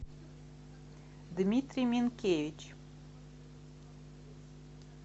дмитрий минкевич